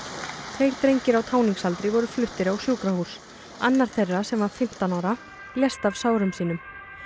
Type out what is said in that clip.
tveir drengir á táningsaldri voru fluttir á sjúkrahús annar þeirra sem var fimmtán ára lést af sárum sínum